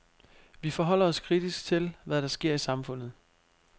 Vi forholder os kritisk til, hvad der sker i samfundet.